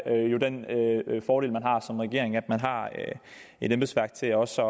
er jo den fordel man har som regering altså at man har et embedsværk til også